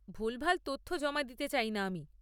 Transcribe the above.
ভুলভাল তথ্য জমা দিতে চাই না আমি।